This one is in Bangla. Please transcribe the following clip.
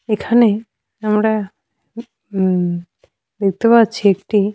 এখানে আমরা হুম দেখতে পাচ্ছি একটি।